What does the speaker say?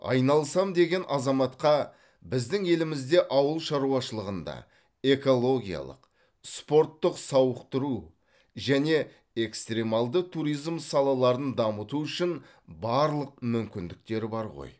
айналысам деген азаматқа біздің елімізде ауыл шаруашылығында экологиялық спорттық сауықтыру және экстремалды туризм салаларын дамыту үшін барлық мүмкіндіктер бар ғой